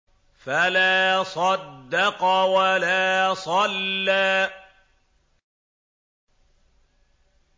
فَلَا صَدَّقَ وَلَا صَلَّىٰ